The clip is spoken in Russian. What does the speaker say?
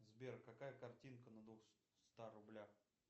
сбер какая картинка на двухстах рублях